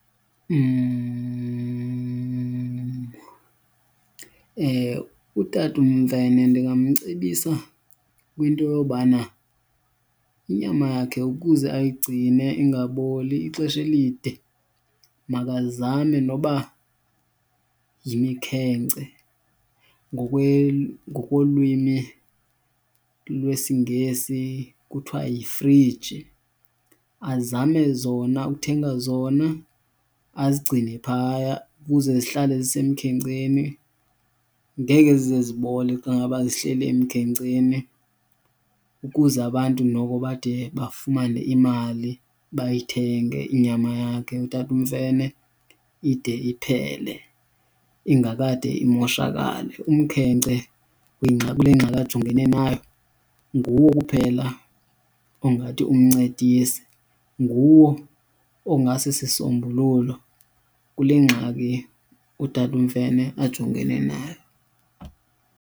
Utata uMfene ndingamcebisa kwinto yobana inyama yakhe ukuze ayigcine ingaboli ixesha elide makazame noba yimikhenkce, ngokwelwimi lwesiNgesi kuthiwa yifriji. Azame zona, ukuthenga zona azigcine phaya ukuze zihlale zisemkhenkceni. Ngeke zize zibole xa ngaba zihleli emkhenkceni ukuze abantu noko bade bafumane imali, bayithenge inyama yakhe utata uMfene ide iphele ingakade imoshakale. Umkhenkce kule ngxaki ajongene nayo nguwo kuphela ongathi umncedise, nguwo ongasisisombululo kule ngxaki utata uMfene ajongene nayo.